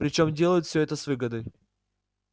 причём делают все это с выгодой